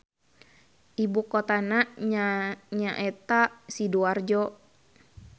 Ibukotana nyaeta Sidoarjo.